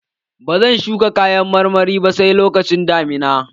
Ba zan shuka kayan marmaru ba sai lokacin damina.